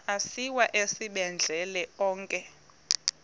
asiwa esibhedlele onke